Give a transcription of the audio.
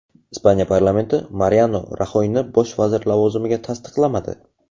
Ispaniya parlamenti Mariano Raxoyni bosh vazir lavozimiga tasdiqlamadi.